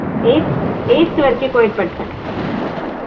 eighth eighth வரைக்கும் co ed படிச்சேன்